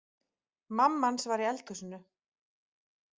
Mamma hans, var í eldhúsinu.